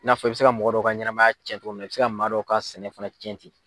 I n'a fɔ i bɛ se ka mɔgɔ dɔ ka ɲɛnamaya cɛn cogo min na i bɛ se maa dɔ ka sɛnɛ fana cɛn tɛ.